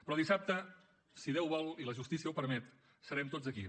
però dissabte si déu vol i la justícia ho permet serem tots aquí